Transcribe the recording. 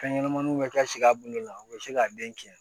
Fɛn ɲɛnɛmaninw bɛ ka si a bolo la u bɛ se k'a den tiɲɛ